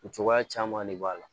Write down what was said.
O cogoya caman de b'a la